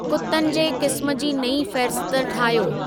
कुतनि जे क़िस्म जी नई फहिरिस्त ठाहियो